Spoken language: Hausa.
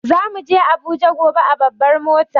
Za muje Abuja Gobe a babbar mota.